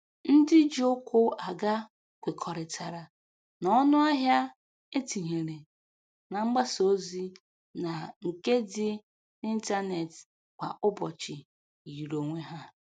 Ndị ji ụkwụ aga kwekọrịtara na ọnụahịa e tinyere na mgbasa ozi na nke dị n'ịntanetị kwa ụbọchị yiri onwe ha